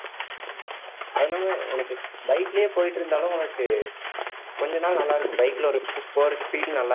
உனக்கு bike லயே போயிட்டு இருந்தாலும் உனக்கு கொஞ்ச நாள் நல்லா இருக்கும் bike ல ஒரு super க்கு feel நல்லா இருக்கும்